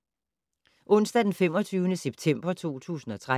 Onsdag d. 25. september 2013